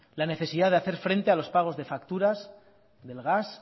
la necesidad de hacer frente a los pagos de facturas del gas